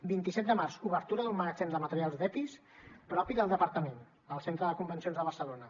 vint set de març obertura d’un magatzem de materials d’epis propi del departament al centre de convencions de barcelona